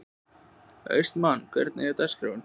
Austmann, hvernig er dagskráin?